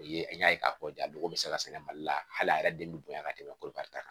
O ye an y'a ye k'a fɔ jago bɛ se ka sɛnɛ mali la hali a yɛrɛ den bɛ bonya ka tɛmɛ kori karita kan